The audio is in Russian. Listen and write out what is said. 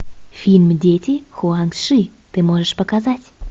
фильм дети хуанг ши ты можешь показать